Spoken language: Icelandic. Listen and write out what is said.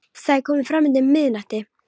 Það er komið fram undir miðnætti.